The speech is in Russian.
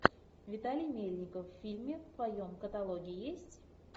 виталий мельников в фильме в твоем каталоге есть